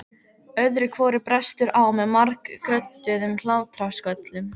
Öðru hvoru brestur á með margrödduðum hlátrasköllum.